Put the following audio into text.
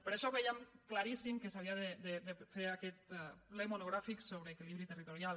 per això vèiem claríssim que s’havia de fer aquest ple mo·nogràfic sobre equilibri territorial